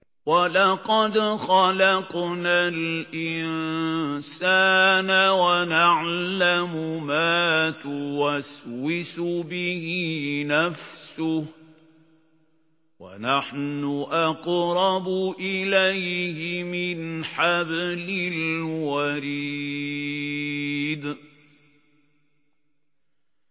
وَلَقَدْ خَلَقْنَا الْإِنسَانَ وَنَعْلَمُ مَا تُوَسْوِسُ بِهِ نَفْسُهُ ۖ وَنَحْنُ أَقْرَبُ إِلَيْهِ مِنْ حَبْلِ الْوَرِيدِ